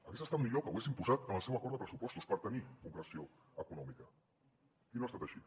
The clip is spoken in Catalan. hagués estat millor que ho haguessin posat en el seu acord de pressupostos per tenir concreció econòmica i no ha estat així